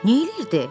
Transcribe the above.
Neyləyirdi?